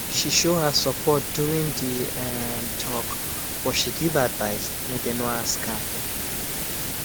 she show her support during the um talk but she give advice wey dey no ask am